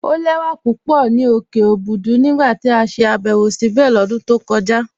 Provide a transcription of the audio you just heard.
Ọ̀ lẹ̀wà pupọ̀ ni okè Òbùdú nígbà tí a ṣè àbẹ̀wọ̀ síbé lọ́dún tó kọja.